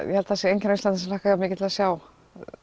ég held að það sé enginn á Íslandi sem hlakkar jafnmikið að sjá